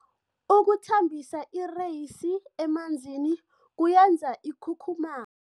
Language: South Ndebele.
Ukuthambisa ireyisi emanzini kuyenza ikhukhumaye.